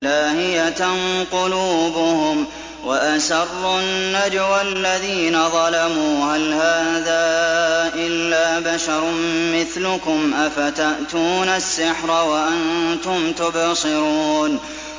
لَاهِيَةً قُلُوبُهُمْ ۗ وَأَسَرُّوا النَّجْوَى الَّذِينَ ظَلَمُوا هَلْ هَٰذَا إِلَّا بَشَرٌ مِّثْلُكُمْ ۖ أَفَتَأْتُونَ السِّحْرَ وَأَنتُمْ تُبْصِرُونَ